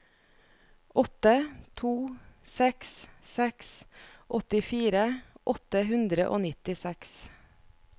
åtte to seks seks åttifire åtte hundre og nittiseks